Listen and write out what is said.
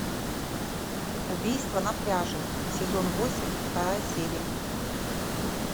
убийство на пляже сезон восемь вторая серия